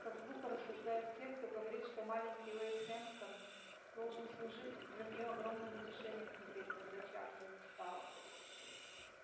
как глупо рассуждают те кто говорит что маленький уэйд хэмптон должен служить для неё огромным утешением теперь когда чарлза не стало